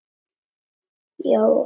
Já, hann er farinn